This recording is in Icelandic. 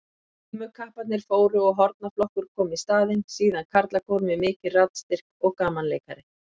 Glímukapparnir fóru og hornaflokkur kom í staðinn, síðan karlakór með mikinn raddstyrk og gamanleikari.